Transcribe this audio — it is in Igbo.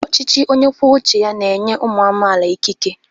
Ọchịchị onye kwuo uche ya na-enye ụmụ amaala ikike.